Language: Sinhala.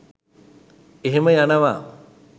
එහෙම යනව